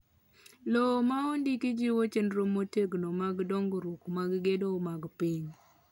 Lowo ma ondiki jiwo chenro motegno mag dongruok mag gedo mag piny